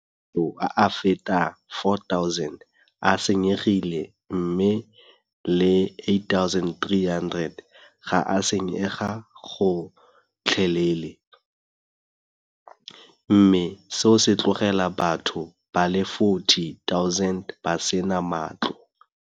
Matlo a feta 4 000 a senyegile mme a le 8 300 ga a senyega gotlhelele, mme seo se tlogela batho ba le 40 000 ba sena matlo.